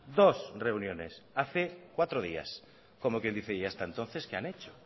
dos reuniones hace cuatro días como quien dice y hasta entonces qué han hecho